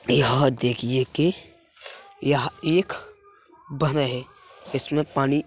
यह देखिए की यह एक बधह है इसमे पानी --